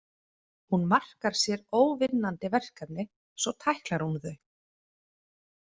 Hún markar sér óvinnandi verkefni, svo tæklar hún þau.